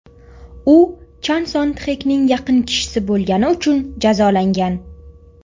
U Chan Son Txekning yaqin kishisi bo‘lgani uchun jazolangan.